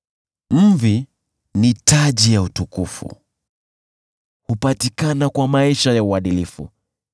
Mvi ni taji ya utukufu; hupatikana kwa maisha ya uadilifu.